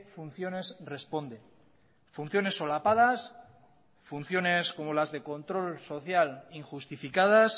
funciones responde funciones solapadas funciones como las de control social injustificadas